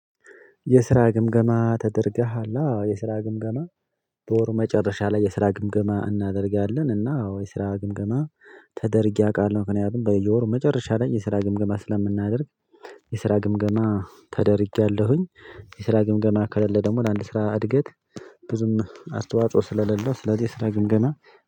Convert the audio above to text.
የስራ ግምገማ ተደርገሃል? አዎ የስራ ግምገማ በወር መጨረሻ ላይ የስራ ግምገማ እናደርጋለን እና አዎ የስራ ግምገማ ተደርጌ አውቃለሁ ምክንያቱም በየወሩ መጨረሻ ላይ የስራ ግምገማ ስለምናደርግ የስራ ግምገማ ተደርጌያለሁኝ የስራ ግምገማ ከሌለ ደግሞ ለአንድ ስራ እድገት ብዙም አስተዋጽኦ ስለሌለው ስለዚህ የስራ ግምገማ